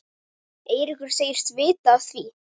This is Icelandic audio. Eiríkur segist vita af því.